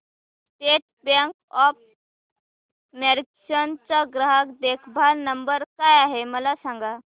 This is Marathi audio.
स्टेट बँक ऑफ मॉरीशस चा ग्राहक देखभाल नंबर काय आहे मला सांगा